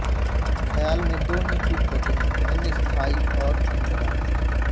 खयाल में दो ही तुक होते हैंस्थायी और अंतरा